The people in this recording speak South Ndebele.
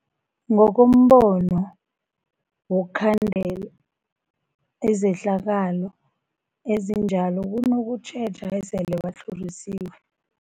Ngokombono wokukhandela izehlakalo ezinjalo kunokutjheja esele batlhorisiwe.